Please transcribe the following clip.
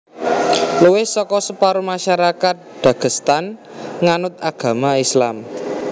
Luwih saka separo masyarakat Dagestan nganut agama Islam